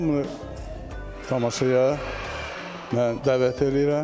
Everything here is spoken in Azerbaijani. Hamını tamaşaya mən dəvət eləyirəm.